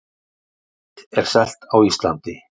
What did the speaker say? Lyfið er selt á Íslandi